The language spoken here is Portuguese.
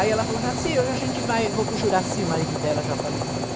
Aí ela falou Jacy, hoje a gente vai, vou com o Juracy, o marido dela já falecido.